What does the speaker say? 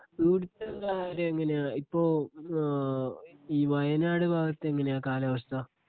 ഇവിടുത്തെ കാര്യം എങ്ങനെയാ ഇപ്പോ ഈ വയനാട് ഭാഗത്ത് എങ്ങനെയാ കാലാവസ്ഥ?